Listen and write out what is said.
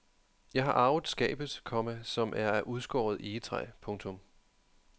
Jeg har arvet skabet, komma som er af udskåret egetræ. punktum